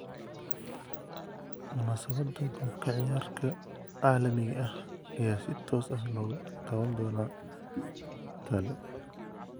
Munaasabadda qoob ka ciyaarka caalamiga ah ayaa si toos ah looga daawan doonaa tale.